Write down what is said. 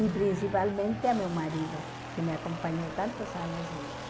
E principalmente ao meu marido, que me acompanhou tantos anos juntos.